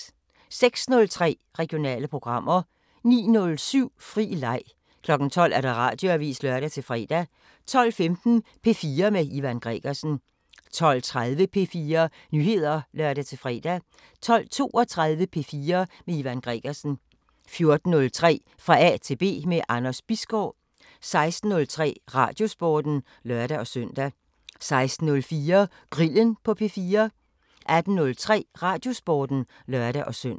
06:03: Regionale programmer 09:07: Fri leg 12:00: Radioavisen (lør-fre) 12:15: P4 med Ivan Gregersen 12:30: P4 Nyheder (lør-fre) 12:32: P4 med Ivan Gregersen 14:03: Fra A til B – med Anders Bisgaard 16:03: Radiosporten (lør-søn) 16:04: Grillen på P4 18:03: Radiosporten (lør-søn)